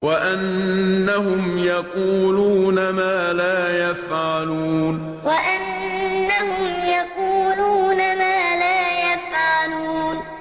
وَأَنَّهُمْ يَقُولُونَ مَا لَا يَفْعَلُونَ وَأَنَّهُمْ يَقُولُونَ مَا لَا يَفْعَلُونَ